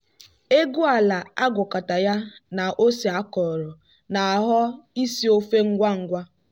egwu ala agwakọta ya na ose akọrọ na-aghọ isi ofe ngwa ngwa.